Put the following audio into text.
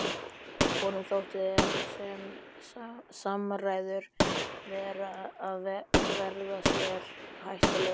Honum þótti sem samræðurnar væru að verða sér hættulegar.